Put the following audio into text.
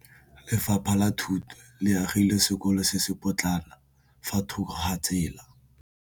Lefapha la Thuto le agile sekôlô se se pôtlana fa thoko ga tsela.